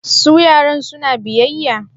Su yaran suna biyayya?